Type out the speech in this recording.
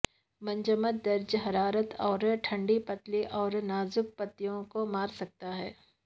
منجمد درجہ حرارت اور ٹھنڈا پتلی اور نازک پتیوں کو مار سکتا ہے